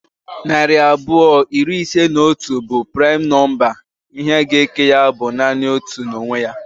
Narị abụọ iri ise na otu bụ primu nọmba. Ihe ga eke ya bụ nanị otu na onwe ya